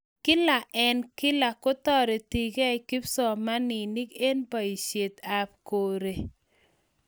kla en kla kutoretekei kipsomaninik en boisionik ab koree